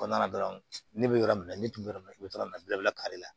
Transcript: Kɔnɔna na dɔrɔn ne bɛ yɔrɔ min na ne tun bɛ yɔrɔ min na i bɛ yɔrɔ min na bɛɛ bɛ kari la